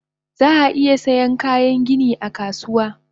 Zaa iya Saiyan Kayan gani akasuwa